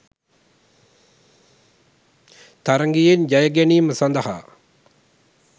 තරගයෙන් ජයගැනීම සඳහා